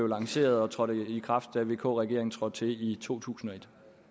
lanceret og trådte i kraft da vk regeringen trådte til i totusinde